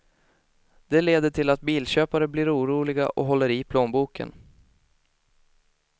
Det leder till att bilköpare blir oroliga och håller i plånboken.